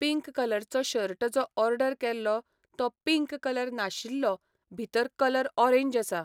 Pink कलरचो shirt जो order केल्लो तो पिंक कलर नाशिल्लो भितर कलर ऑरेंज आसा.